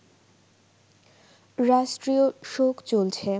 রাষ্ট্রীয় শোক চলছে